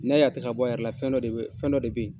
N'i y'a ye tɛ ka bɔ a yɛrɛ la fɛn dɔ de bɛ fɛn dɔ de bɛ ye.